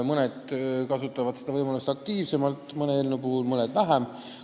Mõned kasutavad seda võimalust mõne eelnõu puhul aktiivselt, mõned vähem.